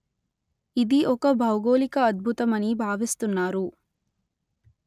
ఇది ఒక భౌగోళిక అద్భుతమని భావిస్తున్నారు